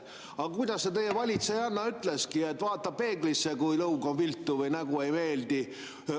Aga kuidas teie valitsejanna ütleski: vaata peeglisse, kui lõug on viltu või nägu ei meeldi.